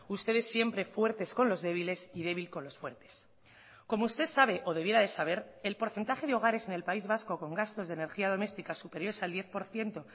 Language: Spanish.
ustedes siempre fuertes con los débiles y débil con los fuertes como usted sabe o debiera de saber el porcentaje de hogares en el país vasco con gastos de energía doméstica superiores al diez por ciento